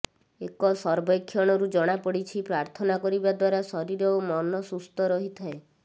ଏକ ସର୍ବେକ୍ଷଣରୁ ଜଣାପଡ଼ିଛି ପ୍ରାର୍ଥନା କରିବା ଦ୍ବାରା ଶରୀର ଓ ମନ ସୁସ୍ଥ ରହିଥାଏ